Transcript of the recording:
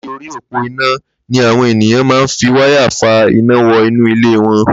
Làtí óri ópó iná ni awọn éniyàn mà n fi wàyá fà iná wọ inú ilé wọn